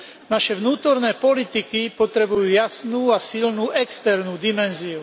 Naše vnútorné politiky potrebujú jasnú a silnú externú dimenziu.